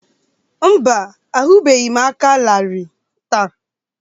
Mba, ahụbeghị m aka larịị taa